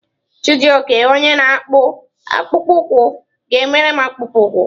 Chijioke onye na-akpụ akpụkpọ ụkwụ ga-emere m akpụkpọ ụkwụ.